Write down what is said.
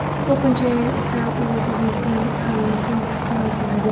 Ko‘pincha esa u biznesning ham muhim qismi bo‘ladi.